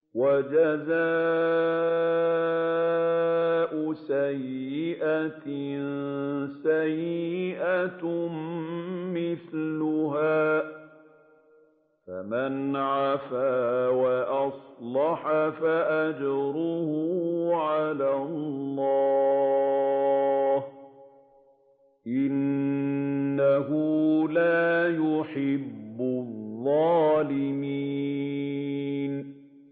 وَجَزَاءُ سَيِّئَةٍ سَيِّئَةٌ مِّثْلُهَا ۖ فَمَنْ عَفَا وَأَصْلَحَ فَأَجْرُهُ عَلَى اللَّهِ ۚ إِنَّهُ لَا يُحِبُّ الظَّالِمِينَ